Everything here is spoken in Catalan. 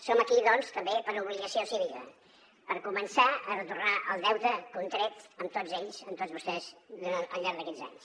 som aquí doncs també per obligació cívica per començar a retornar el deute contret amb tots ells amb tots vostès al llarg d’aquests anys